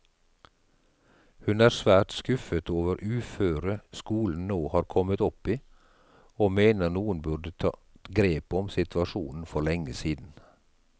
Hun er svært skuffet over uføret skolen nå har kommet opp i, og mener noen burde tatt grep om situasjonen for lenge siden.